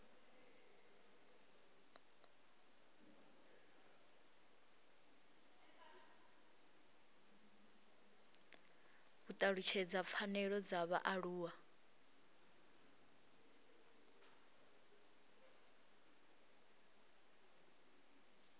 u talutshedza pfanelo dza vhaaluwa